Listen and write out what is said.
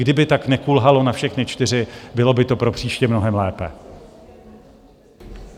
Kdyby tak nekulhalo na všechny čtyři, bylo by to pro příště mnohem lépe.